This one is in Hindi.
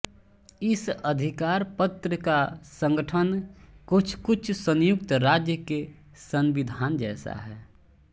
इस अधिकारपत्र का संगठन कुछकुछ संयुक्त राज्य के संविधान जैसा है